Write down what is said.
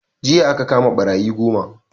Jiya aka kama ɓarayi goma